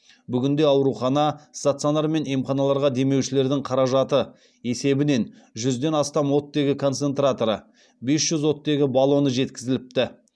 бүгінде аурухана стационар мен емханаларға демеушілердің қаражаты есебінен жүзден астам оттегі концентраторы бес жүз оттегі баллоны жеткізіліпті